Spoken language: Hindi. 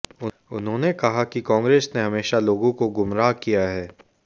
उन्होंने कहा कि कांग्रेस ने हमेशा लोगों को गुमराह किया है